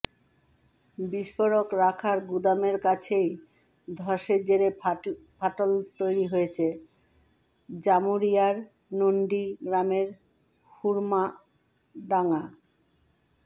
বিস্ফোরক রাখার গুদামের কাছেই ধসের জেরে ফাটল তৈরি হয়েছে জামুড়িয়ার নন্ডি গ্রামের হুড়মাডাঙা